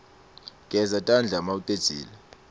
geza tandla umaucedzile